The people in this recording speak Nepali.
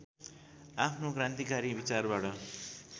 आफ्नो क्रान्तिकारी विचारबाट